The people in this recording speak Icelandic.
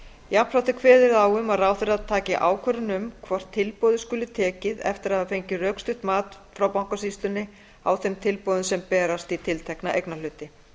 jafnframt er kveðið á um að ráðherra taki ákvörðun um hvort tilboði skuli tekið eftir að hafa fengið rökstutt mat frá bankasýslunni á þeim tilboðum sem berast í tiltekna eignarhluti